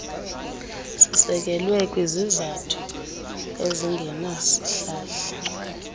sisekelwe kwizizathu ezingenasihlahla